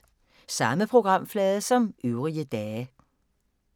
Samme programflade som øvrige dage